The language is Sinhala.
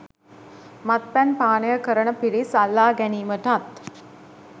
මත්පැන් පානය කරන පිරිස් අල්ලා ගැනීමටත්,